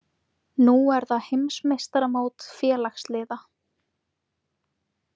Nú er það heimsmeistaramót félagsliða